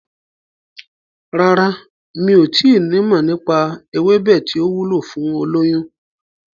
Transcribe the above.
Rárá, mi ò tí nimọ̀ nípa ewébẹ̀ tí ó wúlò fún olóyún.